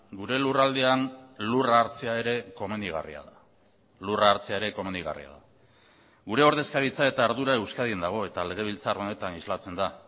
gure lurraldean lurra hartzea ere komenigarria da lurra hartzea ere komenigarria da gure ordezkaritza eta ardura euskadin dago eta legebiltzar honetan islatzen da